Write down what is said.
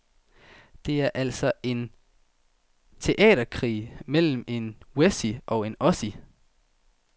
Det er altså en teaterkrig mellem en wessie og en ossie.